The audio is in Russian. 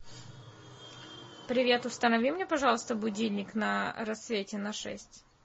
привет установи мне пожалуйста будильник на рассвете на шесть